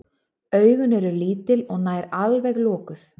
Augun eru lítil og nær alveg lokuð.